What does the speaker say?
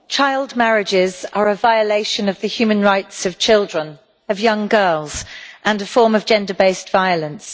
Mr President, child marriages are a violation of the human rights of children, of young girls, and are a form of gender based violence.